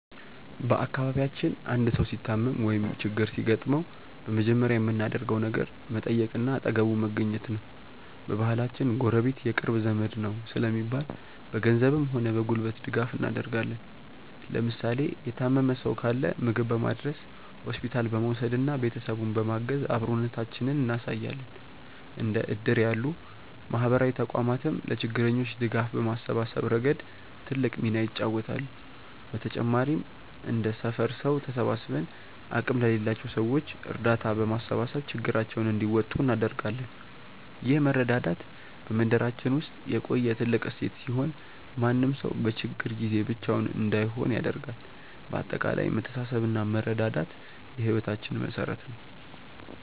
በአካባቢያችን አንድ ሰው ሲታመም ወይም ችግር ሲገጥመው በመጀመሪያ የምናደርገው ነገር መጠየቅና አጠገቡ መገኘት ነው። በባህላችን "ጎረቤት የቅርብ ዘመድ ነው" ስለሚባል፣ በገንዘብም ሆነ በጉልበት ድጋፍ እናደርጋለን። ለምሳሌ የታመመ ሰው ካለ ምግብ በማድረስ፣ ሆስፒታል በመውሰድና ቤተሰቡን በማገዝ አብሮነታችንን እናሳያለን። እንደ እድር ያሉ ማህበራዊ ተቋማትም ለችግረኞች ድጋፍ በማሰባሰብ ረገድ ትልቅ ሚና ይጫወታሉ። በተጨማሪም እንደ ሰፈር ሰው ተሰባስበን አቅም ለሌላቸው ሰዎች እርዳታ በማሰባሰብ ችግራቸውን እንዲወጡ እናደርጋለን። ይህ መረዳዳት በመንደራችን ውስጥ የቆየ ትልቅ እሴት ሲሆን፣ ማንም ሰው በችግር ጊዜ ብቻውን እንዳይሆን ያደርጋል። በአጠቃላይ መተሳሰብና መረዳዳት የህይወታችን መሠረት ነው።